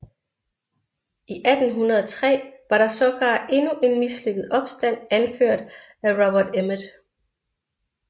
I 1803 var der sågar endnu en mislykket opstand anført af Robert Emmet